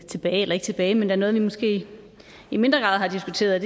tilbage eller ikke tilbage men der er noget vi måske i mindre grad har diskuteret